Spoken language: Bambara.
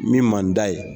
Min man d'a ye